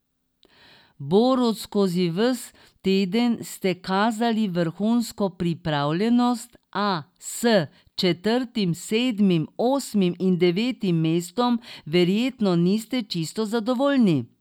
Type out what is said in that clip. Borut, skozi ves teden ste kazali vrhunsko pripravljenost, a s četrtim, sedmim, osmim in devetim mestom verjetno niste čisto zadovoljni?